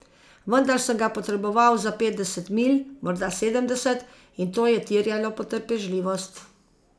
Vendar sem ga potreboval za petdeset milj, morda sedemdeset, in to je terjalo potrpežljivost.